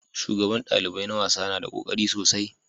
Shugaban dalibai na wasa na da kokari sosai